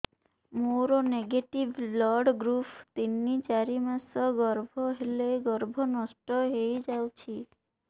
ମୋର negative blood group ତିନ ଚାରି ମାସ ଗର୍ଭ ହେଲେ ଗର୍ଭ ନଷ୍ଟ ହେଇଯାଉଛି